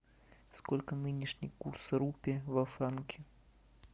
сколько нынешний курс рупий во франки